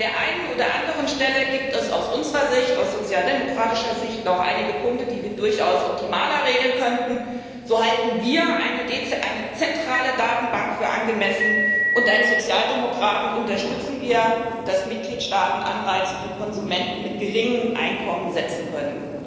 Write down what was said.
An der einen oder anderen Stelle gibt es aus unserer Sicht, aus sozialdemokratischer Sicht, noch einige Punkte, die wir durchaus optimaler regeln könnten So halten wir eine zentrale Datenbank für angemessen, und als Sozialdemokraten unterstützen wir, dass Mitgliedstaaten Anreize für Konsumenten mit geringem Einkommen setzen können.